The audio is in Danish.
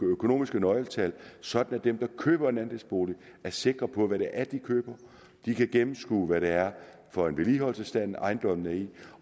økonomiske nøgletal sådan at dem der køber en andelsbolig er sikre på hvad det er de køber de kan gennemskue hvad det er for en vedligeholdelsesstand ejendommen er i